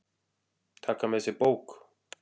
Taka með sér bók.